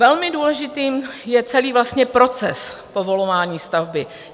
Velmi důležitý je celý proces povolování stavby.